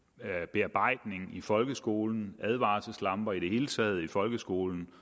bearbejdning i folkeskolen advarselslamper i det hele taget i folkeskolen